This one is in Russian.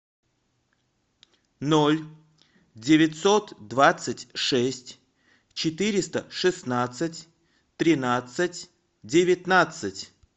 ноль девятьсот двадцать шесть четыреста шестнадцать тринадцать девятнадцать